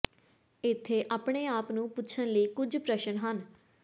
ਇੱਥੇ ਆਪਣੇ ਆਪ ਨੂੰ ਪੁੱਛਣ ਲਈ ਕੁਝ ਪ੍ਰਸ਼ਨ ਹਨ